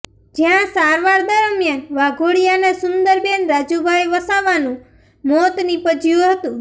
જ્યાં સારવાર દરમિયાન વાઘોડિયાના સુંદરબેન રાજુભાઇ વસાવાનું મોત નીપજ્યું હતું